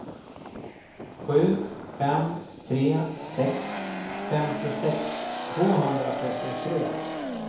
sju fem tre sex femtiosex tvåhundratrettiotre